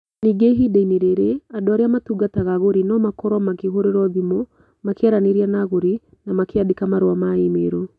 Ningĩ ihinda-inĩ rĩrĩ, andũ arĩa matungataga agũri no makorũo makĩhũrĩrũo thimũ, makĩaranĩria na agũri, na makĩandĩka marũa ma e-mail.